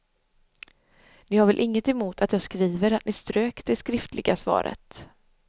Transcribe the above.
Ni har väl inget emot att jag skriver att ni strök det skriftliga svaret?